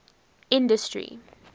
industry